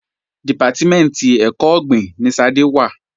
Dìpátímẹ̀ntì ẹ̀kọ́ ọ̀gbìn ni Ṣadé wà